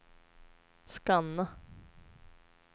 scanna